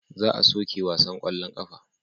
Za a soke wasan kwallon kafa.